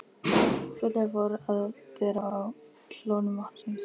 Fljótlega fór að bera á kólnun vatnsins.